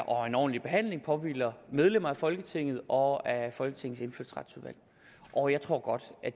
og en ordentlig behandling påhviler medlemmer af folketinget og af folketingets indfødsretsudvalg og jeg tror godt